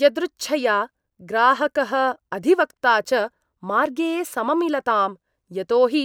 यदृच्छया ग्राहकः अधिवक्ता च मार्गे सममिलताम्, यतोहि